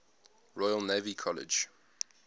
royal naval college